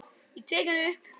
Ég tek hann upp.